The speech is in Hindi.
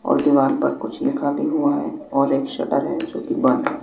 और दीवार पर कुछ लिखा भी हुआ हैं और एक शटर हैं जो कि बंद हैं।